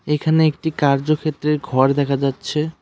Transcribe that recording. এখানে একটি কার্যক্ষেত্রের ঘর দেখা যাচ্ছে।